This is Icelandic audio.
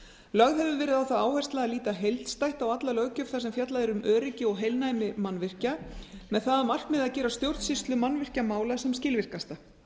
lögð hefur verið á það áhersla að líta heildstætt á alla löggjöf þar sem fjallað er um öryggi og heilnæmi mannvirkja með það að markmiði að gera stjórnsýslu mannvirkjamála sem skilvirkasta